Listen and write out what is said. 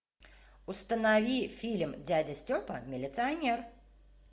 установи фильм дядя степа милиционер